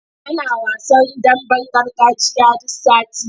Ana wasan damben gargajiya duk sati.